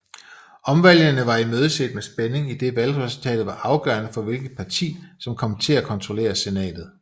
Omvalgene var imødeset med spænding idet valgresultatet var afgørerende for hvilket parti som kom til at kontrollere Senatet